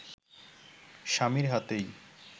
স্বামীর হাতেই